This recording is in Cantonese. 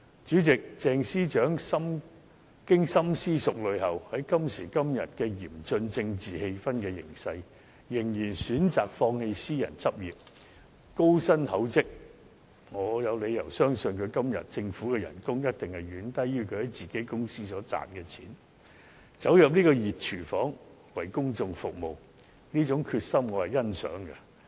主席，鄭司長經深思熟慮後，在今時今日嚴峻政治氣氛的形勢下，仍然選擇放棄私人執業、高薪厚職——我有理由相信她今天所獲得的政府薪酬一定遠低於她在自己公司所賺的錢——走入這個"熱廚房"，為公眾服務，這種決心，我是欣賞的。